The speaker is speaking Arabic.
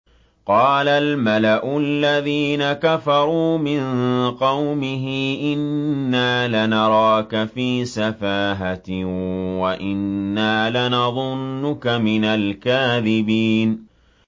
قَالَ الْمَلَأُ الَّذِينَ كَفَرُوا مِن قَوْمِهِ إِنَّا لَنَرَاكَ فِي سَفَاهَةٍ وَإِنَّا لَنَظُنُّكَ مِنَ الْكَاذِبِينَ